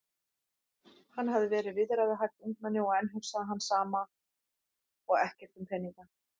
Hann hafði verið viðræðuhæft ungmenni og enn hugsaði hann sama og ekkert um peninga.